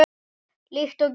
Líkt og gír